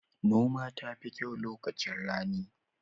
Noma tafi kyau lokacin rani